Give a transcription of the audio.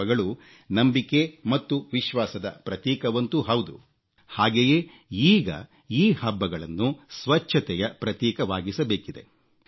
ಹಬ್ಬಗಳು ನಂಬಿಕೆ ಮತ್ತು ವಿಶ್ವಾಸದ ಪ್ರತೀಕವಂತೂ ಹೌದು ಹಾಗೆಯೇ ಈಗ ಈ ಹಬ್ಬಗಳನ್ನು ಸ್ವಚ್ಛತೆಯ ಪ್ರತೀಕವಾಗಿಸಬೇಕಿದೆ